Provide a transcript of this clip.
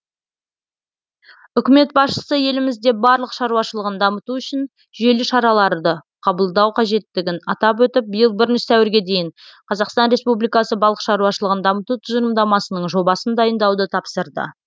үкімет басшысы елімізде барлық шаруашылығын дамыту үшін жүйелі шараларды қабылдау қажеттігін атап өтіп биыл бірінші сәуірге дейін қазақстан республикасы балық шаруашылығын дамыту тұжырымдамасының жобасын дайындауды тапсырды